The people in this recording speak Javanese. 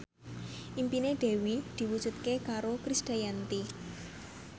impine Dewi diwujudke karo Krisdayanti